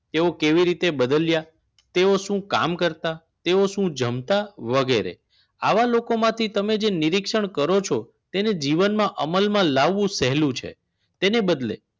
તેવો કેવી રીતે બદલ્યા તેઓ શું કામ કરતા તેઓ શું જમતા વગેરે આવા લોકોમાંથી તમે નિરીક્ષણ કરો છો તેને જીવનમાં અમલમાં લાવવું સહેલું છે તેને બદલે